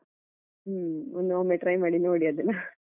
ಹ್ಮ ಇನ್ನೂ ಒಮ್ಮೆ try ಮಾಡಿ ನೋಡಿ ಅದನ್ನ.